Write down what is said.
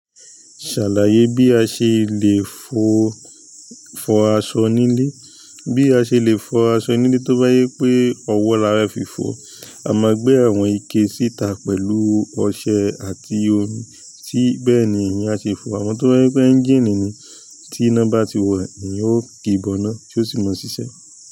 Ṣàlàyé bí a ṣe lè fọ aṣọ nílé. Bí a ṣe lè fọ aṣọ nílé, tó bá jẹ́ pé ọwọ́ la fẹ́ fi fọ̀, a máa gbé àwọn ike síta pẹ̀lú ọṣẹ àti omi, sí bẹ́ẹ̀ ni ìyẹn à ṣe fọ̀. Àmọ́ tó bá jẹ́ pé ẹ́ńjìnnì ni, tí iná bá ti wà, èèyàn ò kì í bọ́ná, tí ó sì máa ṣiṣẹ́.